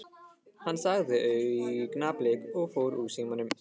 Hann sagði augnablik og fór úr símanum.